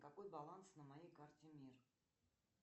какой баланс на моей карте мир